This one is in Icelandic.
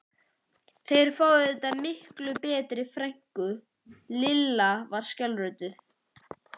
Þeir fá auðvitað miklu betri frænku, Lilla var skjálfrödduð.